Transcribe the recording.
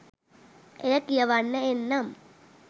එය කියවන්න එන්නම්.